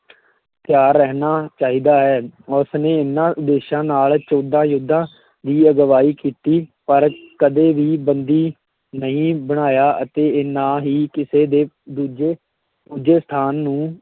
ਤਿਆਰ ਰਹਿਣਾ ਚਾਹੀਦਾ ਹੈ, ਉਸਨੇ ਇਹਨਾਂ ਉਦੇਸ਼ਾਂ ਨਾਲ ਚੌਦਾਂ ਯੁੱਧਾਂ ਦੀ ਅਗਵਾਈ ਕੀਤੀ, ਪਰ ਕਦੇ ਵੀ ਬੰਦੀ ਨਹੀਂ ਬਣਾਇਆ ਅਤੇ ਨਾ ਹੀ ਕਿਸੇ ਦੇ ਦੂਜੇ ਪੂਜਾ ਸਥਾਨ ਨੂੰ